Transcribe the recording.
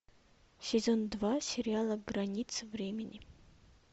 сезон два сериала граница времени